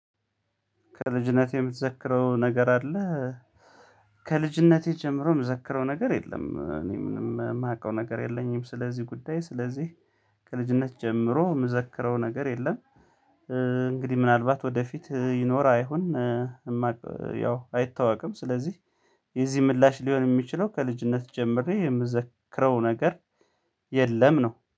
ከልጅነቴ የምትዘክረው ነገር አለ? ከልጅነቴ ጀምሮ የምትዘክረው ነገር የለም እኔ ምንም የማውቀው ነገር የለኝም። ስለዚህ ጉዳይ ስለዚህ ከልጅነት ጀምሮ የምዘክረው ነገር የለም። እንግዲህ ምናልባት ወደፊት ይኖር አይሆን። የማውቀው ያው አይታወቅም ስለዚህ። የዚህ ምላሽ ሊሆን የሚችለው ከልጅነት ጀምርን የምዘክረው ነገር የለም ነው